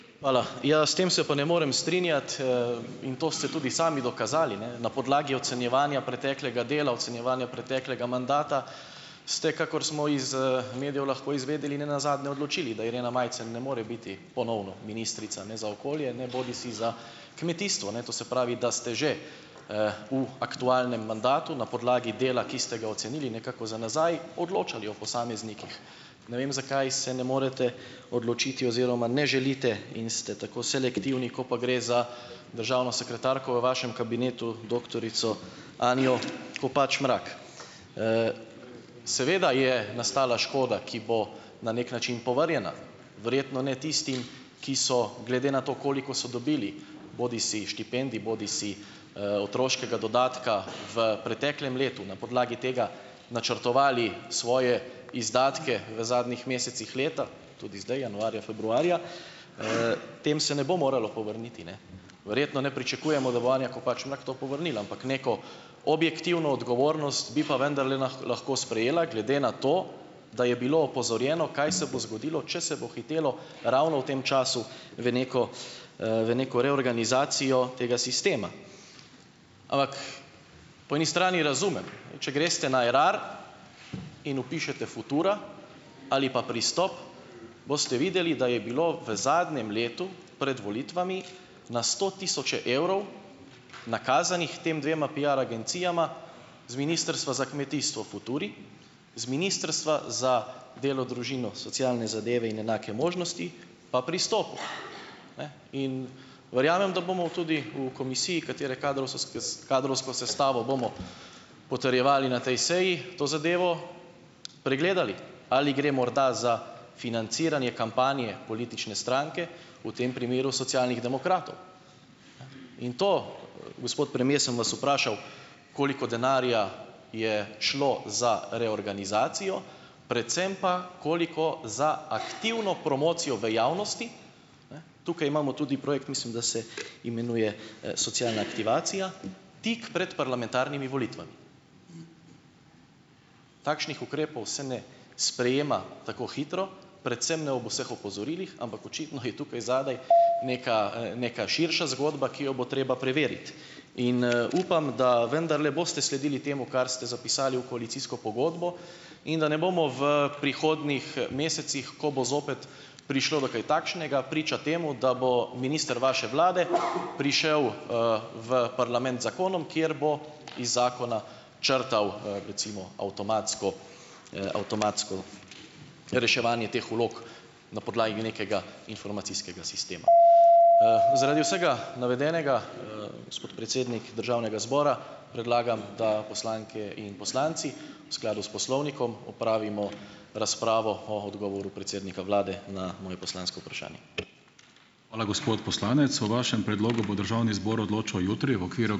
Hvala. Ja, s tem se pa ne morem strinjati, in to ste tudi sami dokazali, ne, na podlagi ocenjevanja preteklega dela, ocenjevanja preteklega mandata ste - kakor smo iz, medijev lahko izvedeli - ne nazadnje odločili, da Irena Majcen ne more biti ponovno ministrica ne za okolje ne bodisi za kmetijstvo, ne. To se pravi, da ste že, v aktualnem mandatu, na podlagi dela, ki ste ga ocenili nekako za nazaj, odločali o posameznikih. Ne vem, zakaj se ne morete odločiti oziroma ne želite in ste tako selektivni, ko pa gre za državno sekretarko v vašem kabinetu, doktorico Anjo Kopač Mrak. Seveda je nastala škoda, ki bo na neki način povrnjena. Verjetno ne tistim, ki so, glede na to, koliko so dobili, bodisi štipendij bodisi, otroškega dodatka v preteklem letu, na podlagi tega načrtovali svoje izdatke v zadnjih mesecih leta, tudi zdaj, januarja, februarja, tem se ne bo moralo povrniti, ne ... Verjetno ne pričakujemo, da bo Anja Kopač Mrak to povrnila, ampak neko objektivno odgovornost bi pa vendarle lahko, lahko sprejela, glede na to, da je bilo opozorjeno, kaj se bo zgodilo, če se bo hitelo ravno v tem času, v neko, v neko reorganizacijo tega sistema. Ampak po eni strani razumem, če greste na Erar in vpišete Futura ali pa Pristop, boste videli, da je bilo v zadnjem letu pred volitvami na sto tisoče evrov nakazanih tema dvema piar agencijama, z Ministrstva za kmetijstvo Futuri, z Ministrstva za delo, družino, socialne zadeve in enake možnosti pa Pristopu, ne, in verjamem, da bomo tudi v komisiji, katere kadrovsko sestavo bomo potrjevali na tej seji, to zadevo pregledali - ali gre morda za financiranje kampanje politične stranke, v tem primeru Socialnih demokratov? In to, gospod premier, sem vas vprašal, koliko denarja je šlo za reorganizacijo, predvsem pa, koliko za aktivno promocijo v javnosti. Ne ... Tukaj imamo tudi projekt, mislim, da se imenuje, "socialna aktivacija", tik pred volitvami parlamentarnimi. Takšnih ukrepov se ne sprejema tako hitro, predvsem ne ob vseh opozorilih, ampak očitno je tukaj zadaj neka, neka širša zgodba, ki jo bo treba preveriti. In, upam, da vendarle boste sledili temu, kar ste zapisali v koalicijsko pogodbo, in da ne bomo v prihodnjih mesecih, ko bo zopet prišlo do kaj takšnega, priča temu, da bo minister vaše vlade prišel, v parlament z zakonom, kjer bo iz zakona črtal, recimo avtomatsko, avtomatsko reševanje teh vlog na podlagi nekega informacijskega sistema. Zaradi vsega navedenega, gospod predsednik državnega zbora, predlagam, da poslanke in poslanci v skladu s poslovnikom opravimo razpravo o odgovoru predsednika vlade na moje poslansko vprašanje.